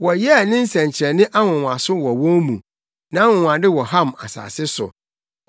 Wɔyɛɛ ne nsɛnkyerɛnne nwonwaso wɔ wɔn mu, nʼanwonwade wɔ Ham asase so.